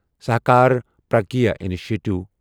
Sahakar Pragya initiative